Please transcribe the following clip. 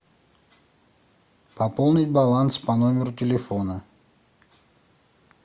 пополнить баланс по номеру телефона